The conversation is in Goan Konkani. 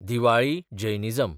दिवाळी (जैनिजम)